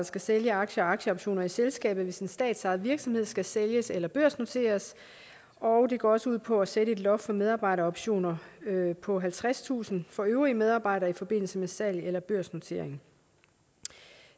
skal sælge aktier og aktieoptioner i selskabet hvis en statsejet virksomhed skal sælges eller børsnoteres og det går også ud på at sætte et loft for medarbejderoptioner på halvtredstusind for øvrige medarbejdere i forbindelse med salg eller børsnotering